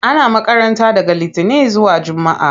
Ana makaranta daga litinin zuwa jumaa.